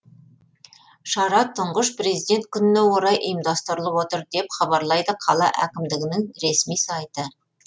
шара тұңғыш президент күніне орай ұйымдастырылып отыр деп хабарлайды қала әкімдігінің ресми сайты